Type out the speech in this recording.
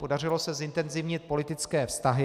Podařilo se zintenzivnit politické vztahy.